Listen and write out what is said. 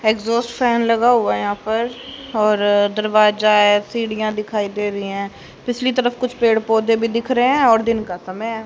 Exhaust fan लगा हुआ है यहां पर और दरवाजा है सीढ़ियां दिखाई दे रही है दूसरी तरफ कुछ पेड़ पौधे भी दिख रहे हैं और दिन का समय है।